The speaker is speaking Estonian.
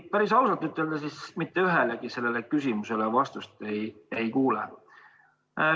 Kui päris ausalt ütelda, siis mitte ühelegi küsimusele vastust ei kuule.